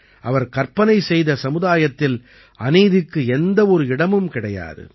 அவர் கற்பனை செய்த சமுதாயத்தில் அநீதிக்கு எந்த ஒரு இடமும் கிடையாது